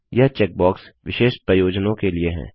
यह चेकबॉक्स विशेष प्रयोजनों के लिए हैं